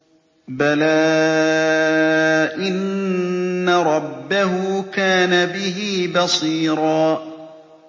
بَلَىٰ إِنَّ رَبَّهُ كَانَ بِهِ بَصِيرًا